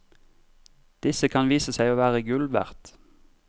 Disse kan vise seg å være gull verd.